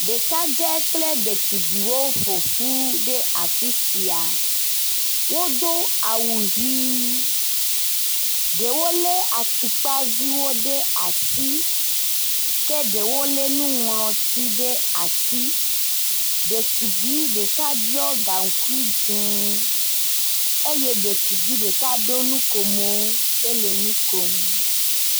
Ɖekadze kple ɖetugbuiwo ƒoƒu ɖe afi sia. Wodo awu ʋɛ̃, ɖewo lé atukpa viwo ɖe asi ke ɖewo lé nuŋlɔti ɖe asi. Ɖetugbui ɖeka ɖɔ gaŋkui dze eye ɖetugbui ɖeka ɖo nukomo hele nu kom.